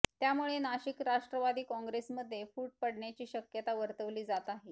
त्यामुळे नाशिक राष्ट्रवादी काँग्रेस मध्ये फूट पडण्याची शक्यता वर्तवली जात आहे